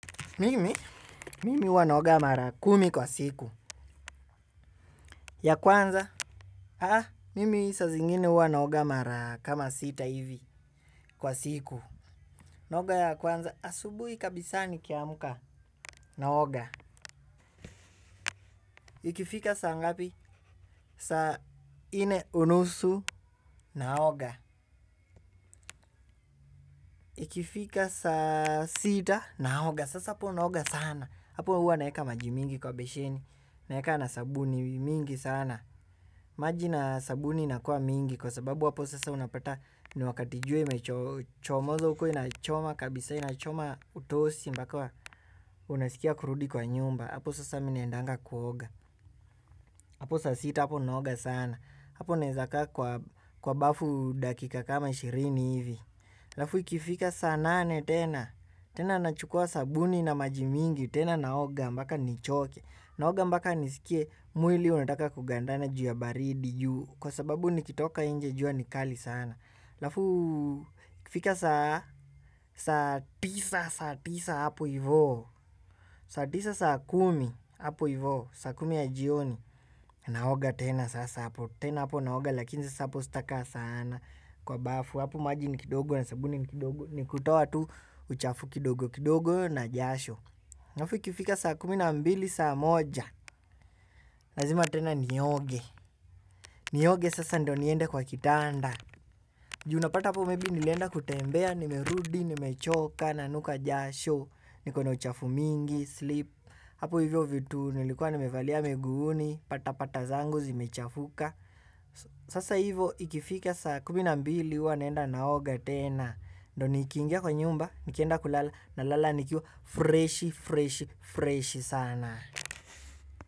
Mimi, mimi huwa naoga mara kumi kwa siku. Ya kwanza. Haa, mimi saa zingine huwa naoga mara kama sita hivi kwa siku. Naoga ya kwanza, asubui kabisa ni kiamka. Naoga. Ikifika saa ngapi? Saa nne unusu. Naoga. Ikifika saa sita, naoga, sasa hapo naoga sana. Hapo huwa naweka maji mingi kwa besheni. Naweka na sabuni mingi sana. Maji na sabuni inakua mingi kwa sababu hapo sasa unapata ni wakati jua imechomoza huko inachoma kabisa, inachoma utosi mpaka unasikia kurudi kwa nyumba hapo sasa mimi naendanga kuoga hapo saa sita hapo naoga sana hapo newezakaa kwa bafu dakika kama ishirini hivi alafu ikifika saa nane tena, tena nachukua sabuni na maji mingi, tena naoga mpaka nichoke, naoga mpaka nisikie mwili unataka kugandana ju ya baridi ju, kwa sababu nikitoka nje jua ni kali sana. Alafu, ikifika saa, saa tisa, saa tisa hapo hivo saa tisa, saa kumi, hapo hivo, saa kumi ya jioni. Naoga tena, sasa hapo, tena hapo naoga lakini sasa hapo sitakaa sana kwa bafu, hapo maji ni kidogo na sabuni ni kidogo. Ni kutoa tu, uchafu kidogo, kidogo na jasho alafu, ikifika saa kumi na mbili, saa moja lazima tena, nioge, nioge, sasa ndo niende kwa kitanda. Ju unapata po maybe nilenda kutembea, nimerudi, nimechoka, nanuka jasho, nikona uchafu mingi, slip, hapo hivyo vitu nilikuwa nimevalia miguuni, patapata zangu zimechafuka. Sasa hivyo ikifika saa kumi na mbili huwa naenda naoga tena, ndo nikiingia kwa nyumba, nikienda kulala nalala nikiwa freshi, freshi, freshi sana.